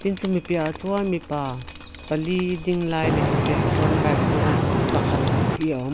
chumi piahah chuan mipa pali ding lai leh an piahah chuan bike chunga pakhat bawk hi a awm --